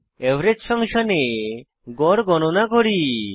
average ফাংশনে গড় গণনা করি